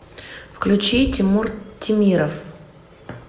включи тимур темиров